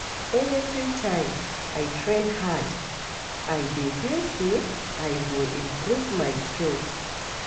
Every time I train hard, I dey feel say I go improve my skills.